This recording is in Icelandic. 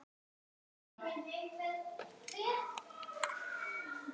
Þú ert á góðum stað.